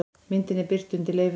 Myndin er birt undir leyfinu